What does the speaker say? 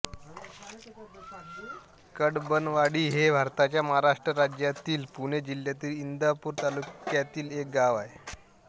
कडबनवाडी हे भारताच्या महाराष्ट्र राज्यातील पुणे जिल्ह्यातील इंदापूर तालुक्यातील एक गाव आहे